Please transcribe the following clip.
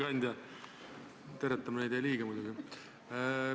Auväärt ettekandja!